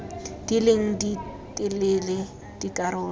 di leng di telele dikarolo